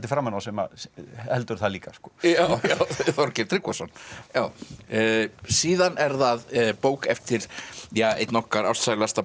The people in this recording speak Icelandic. framan á sem heldur það líka já Þorgeir Tryggvason síðan er það bók eftir ja einn okkar ástsælasta